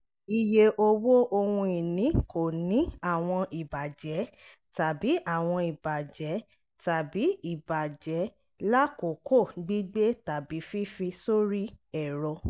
iye owó ohun ìní kò ní àwọn ìbàjẹ́ tàbí àwọn ìbàjẹ́ tàbí ìbàjẹ́ lákòókò gbígbé tàbí fífi sórí ẹ̀rọ